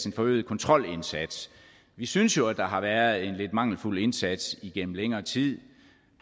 en forøget kontrolindsats vi synes jo at der har været en lidt mangelfuld indsats igennem længere tid